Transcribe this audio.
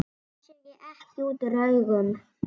Það sér ekki útúr augum.